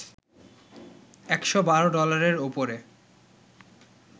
১১২ ডলারের ওপরে